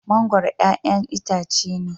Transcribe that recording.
Mangoro ƴaƴan itace ne.